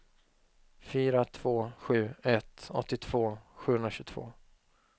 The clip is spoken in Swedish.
fyra två sju ett åttiotvå sjuhundratjugotvå